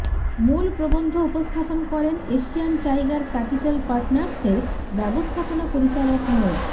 মূল প্রবন্ধ উপস্থাপন করেন এশিয়ান টাইগার ক্যাপিটাল পার্টনার্সের ব্যবস্থাপনা পরিচালক মো